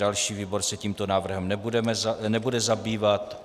Další výbor se tímto návrhem nebude zabývat.